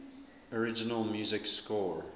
original music score